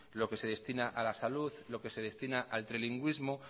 lo que se destina a la salud lo que se destina al trilingüismo